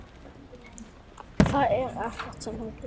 Það er ekkert sem heitir!